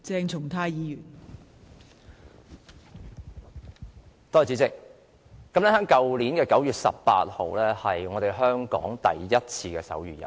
代理主席，去年9月18日是第一屆香港手語日。